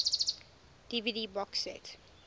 dvd box set